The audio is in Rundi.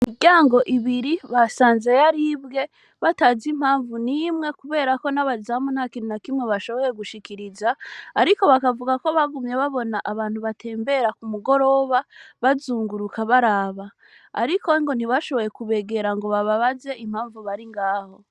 Imiryango ibiri ,basanze yaribwe batazi impamvu n'umwe kuberako n'abazamu ntakintu na kimwe bashoboye gushikiriza, ariko bakavuga ko bagumye babona abantu batembera ku mugoroba bazunguruka baraba, ariko ntibashobore kubegera ngo bababaze impamvu bari ngaho.